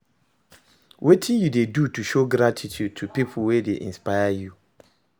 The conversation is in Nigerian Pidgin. Wetin you dey do to show gratitude to people wey dey inspire you?